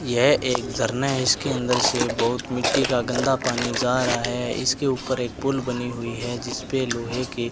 यह एक झरना है इसके अंदर से बहुत मिट्टी का गंदा पानी जा रहा है इसके ऊपर एक पुल बनी हुई है जिसपे लोहे की --